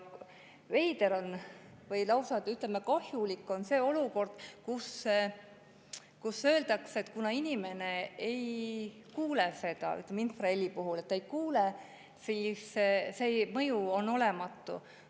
Veider või lausa kahjulik on, kui öeldakse, et kuna inimene ei kuule seda infraheli, siis see mõju on olematu.